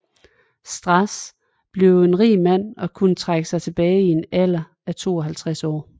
Strass blev en rig mand og kunne trække sig tilbage i en alder af 52 år